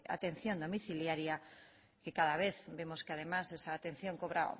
atención domiciliaria que cada vez vemos que además esa atención cobra